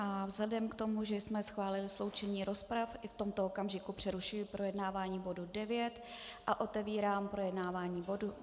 A vzhledem k tomu, že jsme schválili sloučenou rozpravu, i v tomto okamžiku přerušuji projednávání bodu 9 a otevírám projednávání bodu